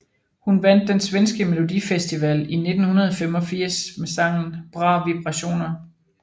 Hun vandt den svenske Melodifestivalen i 1985 med sangen Bra vibrationer